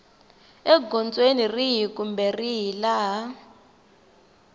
egondzweni rihi kumbe rihi laha